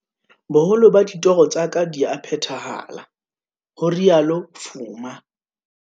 "Boholo ba ditoro tsa ka di a phethahala," ho rialo Fuma.